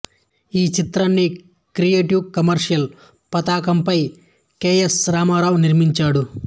ఈ చిత్రాన్ని creative commercials పతాకంపై కె ఎస్ రామారావు నిర్మించాడు